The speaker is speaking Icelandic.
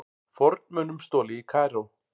Fornmunum stolið í Kaíró